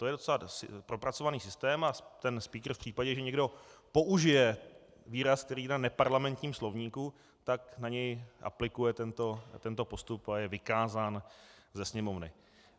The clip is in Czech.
To je docela propracovaný systém a ten spíkr v případě, že někdo použije výraz, který je v neparlamentním slovníku, tak na něj aplikuje tento postup a je vykázán ze sněmovny.